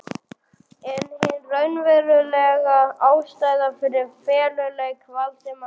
En hin raunverulega ástæða fyrir feluleik Valdimars í